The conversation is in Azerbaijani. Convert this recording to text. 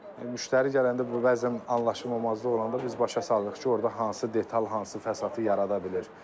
Müştəri gələndə bəzən anlaşılmamazlıq olur, biz başa salırıq ki, orda hansı detal, hansı fəsadı yarada bilir.